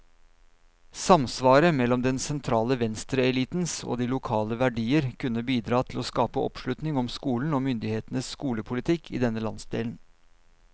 Samsvaret mellom den sentrale venstreelitens og de lokale verdier kunne bidra til å skape oppslutning om skolen, og myndighetenes skolepolitikk i denne landsdelen.